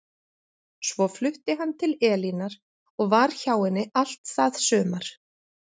Svo flutti hann til Elínar og var hjá henni allt það sumar.